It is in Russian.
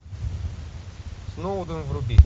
сноуден вруби